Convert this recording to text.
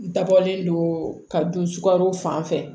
N dabɔlen don ka don sukaro fan fɛ